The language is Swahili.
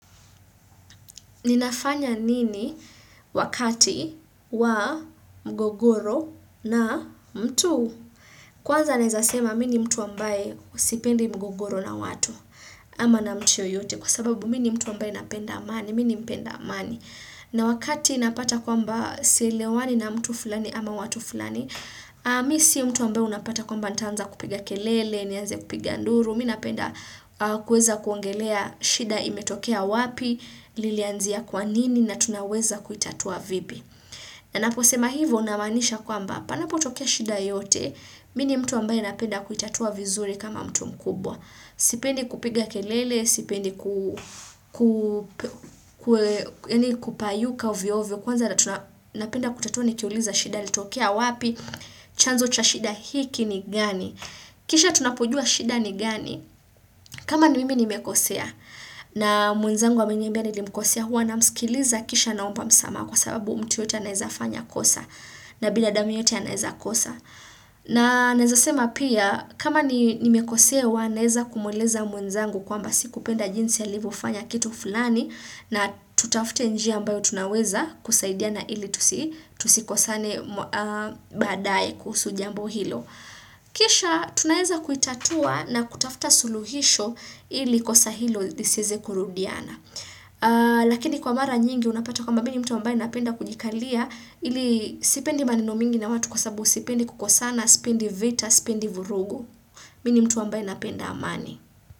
Ninafanya nini wakati wa mgogoro na mtu? Kwanza naeza sema mi ni mtu ambaye sipendi mgogoro na watu ama na mtu yote kwa sababu mi ni mtu ambaye napenda amani, mi ni mpenda amani. Na wakati napata kwamba sielewani na mtu fulani ama watu fulani, mi si mtu ambaye unapata kwamba nitaanza kupiga kelele, nianze kupiga nduru. Mi napenda kuweza kuongelea shida imetokea wapi lilianzia kwa nini na tunaweza kuitatua vipi ninapo sema hivyo namaanisha kwamba panapotokea shida yote mi ni mtu ambaye napenda kuitatua vizuri kama mtu mkubwa sipendi kupiga kelele sipendi kupayuka ovyo ovyo kwanza na tunapenda kutatua nikiuliza shida litokea wapi chanzo cha shida hiki ni gani Kisha tunapojua shida ni gani? Kama ni mimi nimekosea na mwenzangu ameniambia nilimkosea huwa namsikiliza kisha naomba msamaha kwa sababu mtu yote anaeza fanya kosa na binadamu yeyote anaeza kosa. Na naezas ema pia kama ni nimekosea huwa naeza kumuuliza mwenzangu kwamba sikupenda jinsi alivyofanya kitu fulani na tutafute njia ambayo tunaweza kusaidiana ili tusikosane badaaye kuhusu jambo hilo. Kisha tunaeza kuitatua na kutafuta suluhisho ili kosa hilo lisieze kurudiana Lakini kwa mara nyingi unapata kwamba ni mtu ambaye napenda kujikalia ili sipendi maneno mingi na watu kwa sababu sipendi kukosana, sipendi vita, sipendi vurugu Mi ni mtu ambaye napenda amani.